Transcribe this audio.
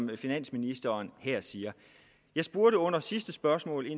hvad finansministeren her siger jeg spurgte under sidste spørgsmål